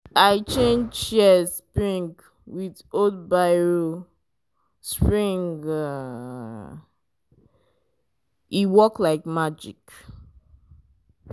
i change shears spring with old biro spring e work like magic.